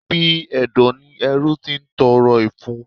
Ibi ẹ̀dọ̀ ni ẹrú ti ń tọrọ ìfun.